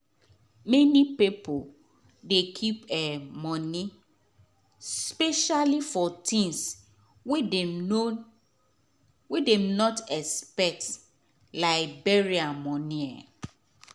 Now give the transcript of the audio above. many pipo dey keep um moni specially for tins wey dem no wey dem not expect like burial moni um